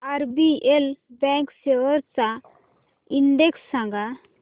RBL bank shares चा index सांगा